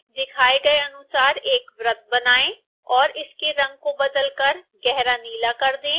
दिखाए गए अनुसार एक वृत्त बनाएँ और इसके रंग को बदलकर गहरा नीला कर दें